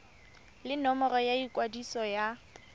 le nomoro ya ikwadiso ya